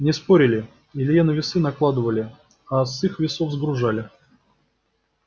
не спорили илье на весы накладывали а с их весов сгружали